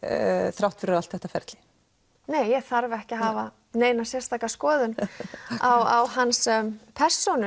þrátt fyrir allt þetta ferli nei ég þarf ekki að hafa neina sérstaka skoðun á hans persónu